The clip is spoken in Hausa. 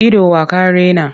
Ido wa ka raina?